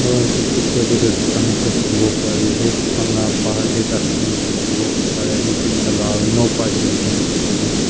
aru edu picture tae toh dukan ekta dikhiwo pariase dukan la bahar tae dustbin ekta dikhiwo pariase green colour aro no parking likhina dikhiase.